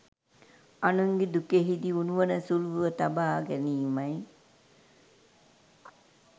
අනුන්ගේ දුකෙහිදී උණුවන සුළුව තබා ගැනීමයි.